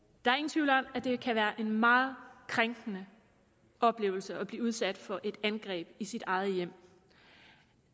tvivl om at det kan være en meget krænkende oplevelse at blive udsat for et angreb i sit eget hjem